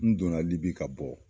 N donna libi ka bɔ